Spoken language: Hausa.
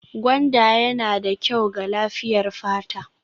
Gwanda yana da kyau ga lafiyar fata